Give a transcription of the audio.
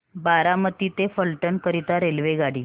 बारामती ते फलटण करीता रेल्वेगाडी